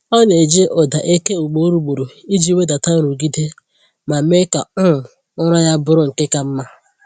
Ọ na-eji ụda eke ugboro ugboro iji wedata nrụgide ma mee ka um ụra ya bụrụ nke ka mma.